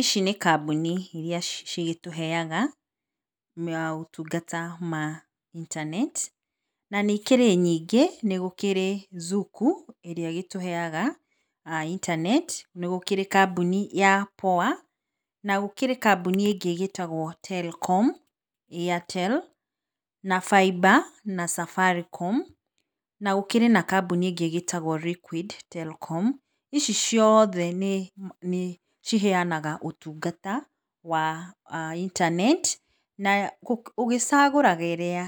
Ici nĩ kambuni irĩa cigĩtũheaga motungata ma intaneti, na nĩ ikĩrĩ nyingĩ, nĩ gũkĩrĩ Zuku ĩrĩa ĩgĩtũheaga intaneti, nĩ gũkĩrĩ kambuni ya POA na gũkĩrĩ kambuni ĩngĩ ĩgĩtagwo Telkom, Airtel, na Faiba ,na Safaricom, na gũkĩrĩ na kambuni ĩngĩ ĩgĩtagwo Liquid Telkom, ici ciothe nĩ ciheanaga ũtungata wa [intaneti, na ũgĩcagũraga ĩrĩa